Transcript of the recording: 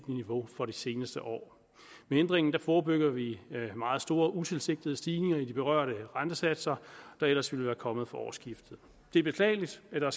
niveau for det seneste år med ændringen forebygger vi meget store utilsigtede stigninger i de berørte rentesatser der ellers ville være kommet fra årsskiftet det er beklageligt at der